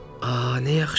A nə yaxşı.